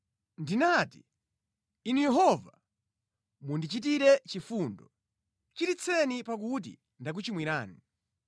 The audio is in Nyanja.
Ndinati, “Inu Yehova, mundichitire chifundo; chiritseni pakuti ndakuchimwirani.”